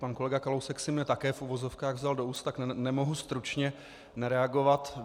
Pan kolega Kalousek si mne také v uvozovkách vzal do úst, tak nemohu stručně nereagovat.